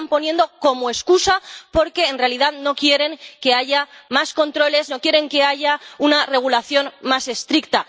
Los están poniendo como excusa, porque en realidad no quieren que haya más controles, no quieren que haya una regulación más estricta.